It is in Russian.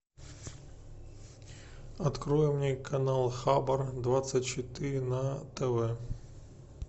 открой мне канал хабар двадцать четыре на тв